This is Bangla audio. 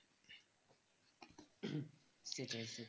সেটাই সেটাই